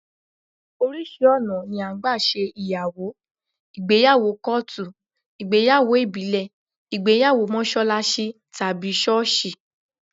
Oríṣi ọ̀nà ni à ń gbà ṣe ìyàwó: ìgbéyàwó kọ́ọ̀tù, ìgbéyàwó ìbílẹ̀, ìgbéyàwó mọ́ṣáláṣí tàbí ṣọ́ọ̀ṣì